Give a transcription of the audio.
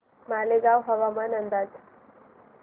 मालेगाव हवामान अंदाज